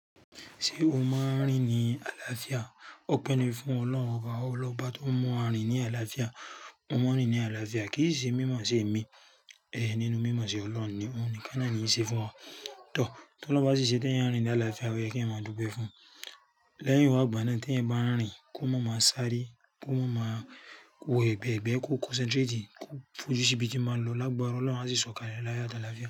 Ṣé o máa ń rìn ní àlàáfíà? Ó pẹ́ ni fún Ọlọ́run oba ọ n lọ́ba tó mu wa rín ní àlàáfíà. Mo màá n rín ní àlàáfíà. Kí si i ṣe mímọ̀ ṣe mi, èé nínú mímọ̀ ṣe Ọlọ́run ni. Óhun níkán náà ní í n ṣe fún wa. Tọ, tó lohun bá ṣiṣẹ́ tí eyan ń rìn ní àlàáfíà, o ye kí ẹyan máa dúpẹ́ fún. Lẹ́yìn wá igbana tí ẹ̀yan ń bá ń rìn kó mọ̀ máa sáré, kó mọ̀ máa wo ẹgbẹ́gbẹ̀ẹ́, kó concentrate, kó fojú síbi tí ba ń lọ. Lágbára Ọlọ́run a sì sọ̀kalẹ̀ láyo ati àlàáfíà.